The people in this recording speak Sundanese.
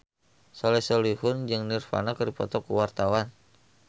Soleh Solihun jeung Nirvana keur dipoto ku wartawan